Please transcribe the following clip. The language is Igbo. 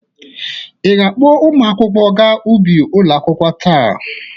Ị ga-akpọ ụmụ akwụkwọ ga ubi ụlọ akwụkwọ taa?